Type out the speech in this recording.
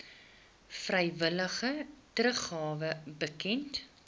vrywillige teruggawe bekend